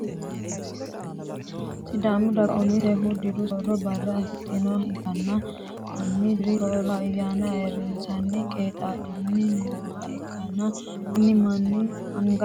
Sidaamu daga umisehu diru sooro Barra afidhinoha ikanna konni diru sooro ayaanna ayirisanni qeexa'lanni nooha ikanna kunni manni angansa amaxini budu uduunni maati?